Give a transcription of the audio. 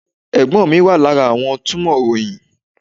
Ẹ̀gbọ́n mi wà lára àwọn túmọ̀ ìròyìn.